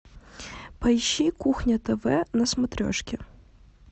поищи кухня тв на смотрешке